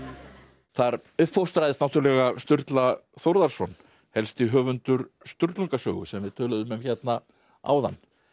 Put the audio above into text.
þar uppfóstraðist náttúrulega Sturla Þórðarson helsti höfundur Sturlungasögu sem við töluðum um hérna áðan